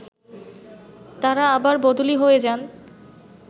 তারা আবার বদলি হয়ে যান